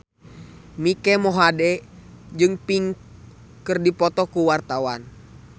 Mike Mohede jeung Pink keur dipoto ku wartawan